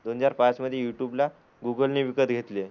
दोन हजार पाच मध्ये युट्युबला गुगलने विकत घेतले.